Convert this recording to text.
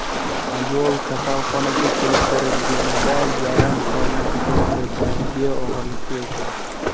Ayol kasalxonaga keltirilganida yarim tonna atrofidagi og‘irlikka ega edi.